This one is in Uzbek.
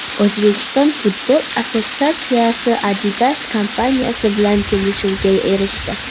O‘zbekiston futbol assotsiatsiyasi Adidas kompaniyasi bilan kelishuvga erishdi.